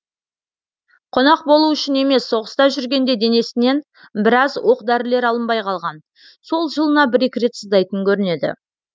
қонақ болу үшін емес соғыста жүргенде денесінен біраз оқ дәрілер алынбай қалған сол жылына бір екі рет сыздайтын көрінеді